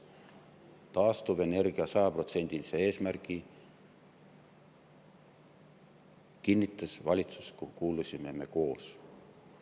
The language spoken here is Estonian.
100% ulatuses taastuvenergia eesmärgi kinnitas valitsus, kuhu kuulusime me koos.